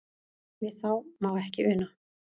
Við það má ekki una.